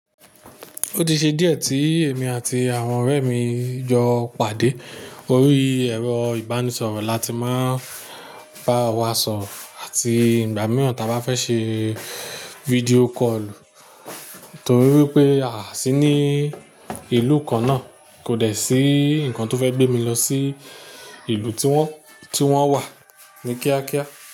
Ó ti ṣe díẹ̀ tí èmi àti àwọn ọ̀rẹ́ mi jo pàdé. Orí ẹ̀rọ ìbánisọ̀rọ̀ la ti máa ń bá wa sọ̀rọ̀ àti ìgbà mìíràn ta a bá fẹ́ ṣe fídíò kọ́ọ̀lù. Nítorí wípé a sì ní ìlú kan náà kò dẹ̀ sí nǹkan tó fẹ́ gbé mi lọ sí ìlú tí wón, tí wón wà ní kíákíá.